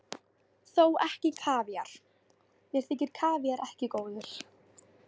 Þó ekki kavíar, mér þykir kavíar ekki góður.